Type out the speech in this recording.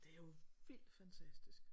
Det er jo vildt fantastisk